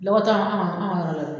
Lɔgɔ ta anw ka anw ka yɔrɔ la.